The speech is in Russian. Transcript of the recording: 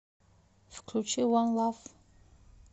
включи ван лав